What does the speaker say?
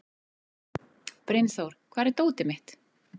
Brynþór, hvar er dótið mitt?